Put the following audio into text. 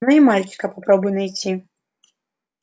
но и мальчика попробуй найти